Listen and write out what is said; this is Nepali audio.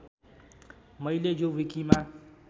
मैले यो विकिमा